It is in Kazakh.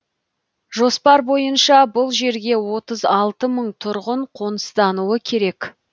жоспар бойынша бұл жерге отыз алты мың тұрғын қоныстануы керек